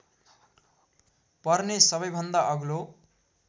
पर्ने सबैभन्दा अग्लो